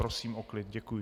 Prosím o klid, děkuji.